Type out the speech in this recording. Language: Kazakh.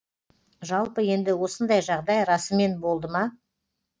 жалпы енді осындай жағдай расымен болды ма